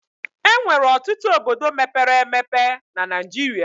Enwere ọtụtụ obodo mepere emebe na Naijiria